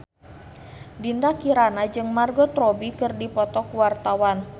Dinda Kirana jeung Margot Robbie keur dipoto ku wartawan